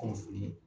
Kunnafoni